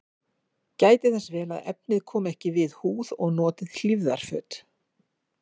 Gætið þess vel að efnið komi ekki við húð og notið hlífðarföt.